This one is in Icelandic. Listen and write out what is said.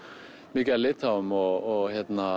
mikið af Litháum og